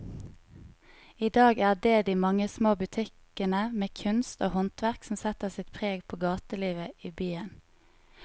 I dag er det de mange små butikkene med kunst og håndverk som setter sitt preg på gatelivet i byen.